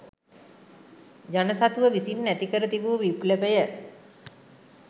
ජන සතුව විසින් ඇති කර තිබූ විප්ලවය